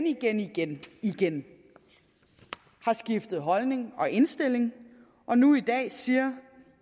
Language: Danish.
igen igen igen har skiftet holdning og indstilling og nu i dag siger